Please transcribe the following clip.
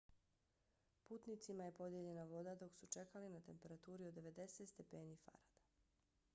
putnicima je podijeljena voda dok su čekali na temperaturi od 90 stepeni f